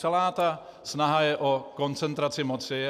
Celá ta snaha je o koncentraci moci.